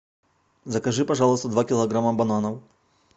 закажи пожалуйста два килограмма бананов